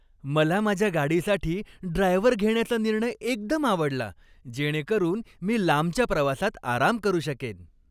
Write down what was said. मला माझ्या गाडीसाठी ड्रायव्हर घेण्याचा निर्णय एकदम आवडला, जेणेकरून मी लांबच्या प्रवासात आराम करू शकेन.